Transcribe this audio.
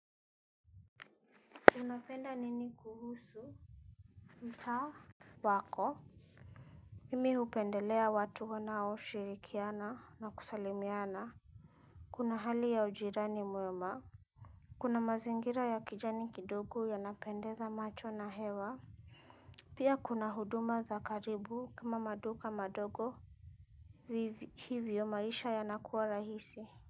Unapenda nini kuhusu mtaa wako. Mimi upendelea watu wanao shirikiana na kusalimiana. Kuna hali ya ujirani mwema kuna mazingira ya kijani kidogo yanapendeza macho na hewa. Pia kuna huduma za karibu kama maduka madogo. Hivyo maisha yanakuwa rahisi. Kwa hivyo.